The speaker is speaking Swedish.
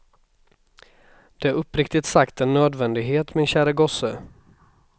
Det är uppriktigt sagt en nödvändighet, min käre gosse.